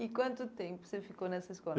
E quanto tempo você ficou nessa escola?